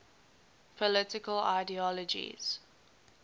political ideologies